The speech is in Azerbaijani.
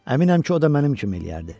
Əminəm ki, o da mənim kimi eləyərdi.